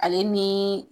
Ale ni